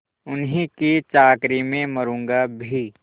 उन्हीं की चाकरी में मरुँगा भी